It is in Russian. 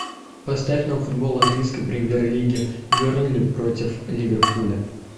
поставь нам футбол английской премьер лиги бернли против ливерпуля